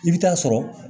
I bɛ taa sɔrɔ